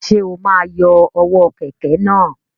Ṣe o ma yọ ọwọ kẹkẹ náà?